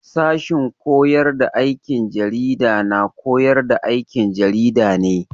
Sashen koyar da aikin jarida na koyar da aikin jarida ne.